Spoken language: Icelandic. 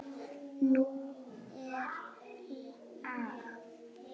Nú er lag!